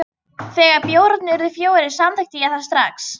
Þegar bjórarnir urðu fjórir, samþykkti ég það strax.